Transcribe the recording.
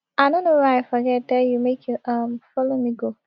i no know why i forget tell you make you um follow me go